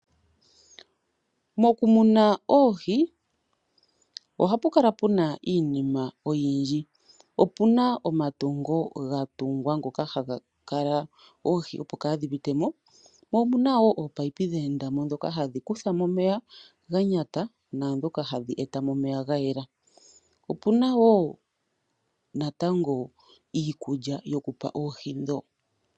Mokumuna oohi ohapu kala puna iinima oyindji. Opuna omatungo ngoka ga tungwa opo oohi kaadhi pite mo. Opuna wo natango oopaiyipi ndhoka dha enda mo dhoku kutha mo omeya gonyata noshowo oku eta mo omeya ga yela. Opuna woo iikulya yokupa oohi.